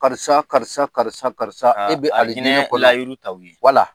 Karisa karisa karisa karisa e bɛ alijinƐ ta u ye kota ye